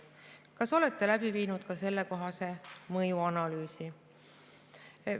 Kas olete läbi viinud ka sellekohase mõjuanalüüsi?